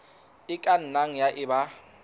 e ka nnang ya eba